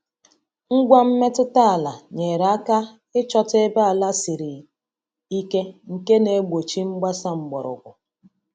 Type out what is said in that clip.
Ngwa mmetụta ala nyere aka ịchọta ebe ala siri ike nke na-egbochi mgbasa mgbọrọgwụ.